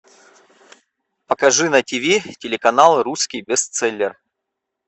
покажи на тв телеканал русский бестселлер